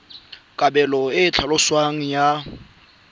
kabelo e e tlhaloswang ya